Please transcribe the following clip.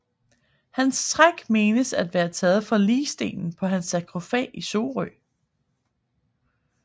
Hans træk menes at være taget fra ligstenen på hans sarkofag i Sorø